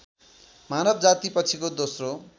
मानव जातिपछिको दोस्रो